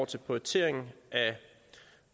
til prioriteringen af